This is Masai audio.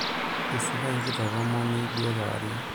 isika ekitok omoni duo kewarie